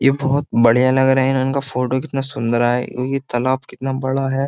ये बहोत बड़े लग रहे हैं इनका फोटो कितना सुंदर आया हैं। यह तालाब कितना सुंदर आया हैं।